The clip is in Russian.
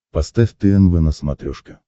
поставь тнв на смотрешке